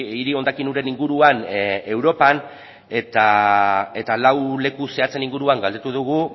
hiri hondakin uren inguruan europan eta lau leku zehatzen inguruan galdetu dugu